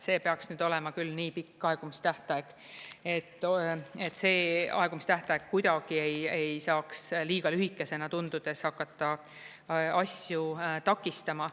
See peaks nüüd olema küll nii pikk aegumistähtaeg, et see aegumistähtaeg kuidagi ei saaks liiga lühikesena tundudes hakata asju takistama.